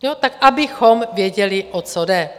Tak abychom věděli, o co jde.